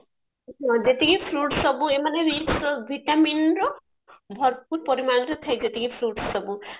ଯେତିକି fruit ସବୁ ଏମାନେ vitaminର ଭରପୁର ପରିମାଣରେ ଥାଏ ଯେତିକି fruit ସବୁ